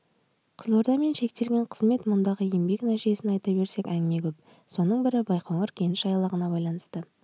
қызылордамен шектелген қызмет мұндағы еңбек нәтижесін айта берсек әңгіме көп соның бірі байқоңыр кеніш айлағына байланысты